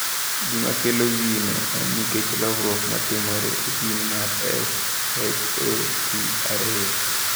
Gima kelo gino en nikech lokruok ma timore e jin mar SHOC2.